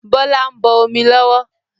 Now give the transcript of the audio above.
Bọlá ń bọ̀ omi lọ́wọ́